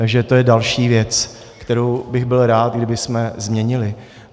Takže to je další věc, kterou bych byl rád, kdybychom změnili.